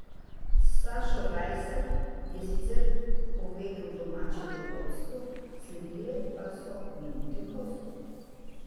Sašo Rajsar je sicer povedel domače v vodstvo, sledile pa so minute gostov.